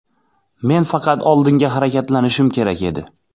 Men faqat oldinga harakatlanishim kerak edi.